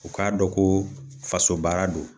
U k'a dɔn ko faso baara don